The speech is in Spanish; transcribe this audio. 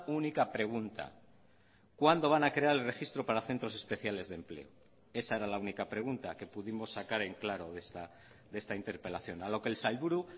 única pregunta cuándo van a crear el registro para centros especiales de empleo esa era la única pregunta que pudimos sacar en claro de esta interpelación a lo que el sailburu